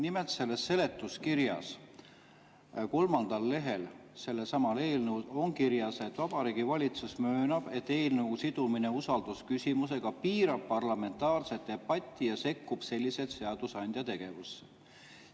Nimelt selles seletuskirjas, sellesama eelnõu kolmandal lehel on kirjas, et Vabariigi Valitsus möönab, et eelnõu sidumine usaldusküsimusega piirab parlamentaarset debatti ja sekkub selliselt seadusandja tegevusse.